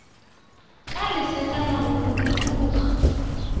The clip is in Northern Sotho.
ka lesakana go go dukologa